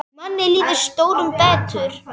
Manni líður stórum betur.